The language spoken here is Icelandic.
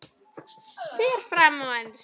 Fer fram á ensku.